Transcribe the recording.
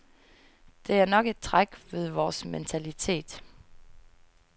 Det er nok et træk ved vores mentalitet.